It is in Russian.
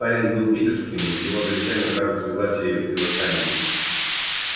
парень был питерским в его завещании указано согласие и восстание